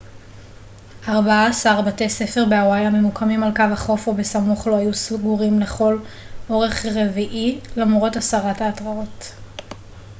ארבעה-עשר בתי ספר בהוואי הממוקמים על קו החוף או בסמוך לו היו סגורים לכל אורך רביעי למרות הסרת ההתרעות